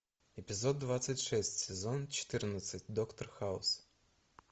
эпизод двадцать шесть сезон четырнадцать доктор хаус